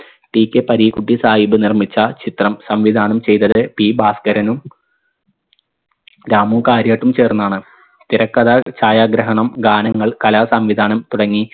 TK Pareekutty Sahib നിർമ്മിച്ച ചിത്രം സംവിധാനം ചെയ്തത് P ഭാസ്കരനും രാമു കാര്യാട്ടും ചേർന്നാണ് തിരക്കഥ ഛായാഗ്രഹണം ഗാനങ്ങൾ കലാസംവിധാനം തുടങ്ങി